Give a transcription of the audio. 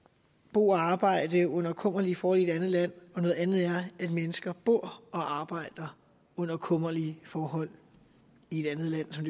bo og arbejde under kummerlige forhold i et andet land og noget andet er at mennesker bor og arbejder under kummerlige forhold i et andet land som